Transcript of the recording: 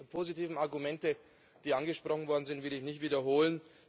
Die vielen positiven Argumente, die angesprochen worden sind, will ich nicht wiederholen.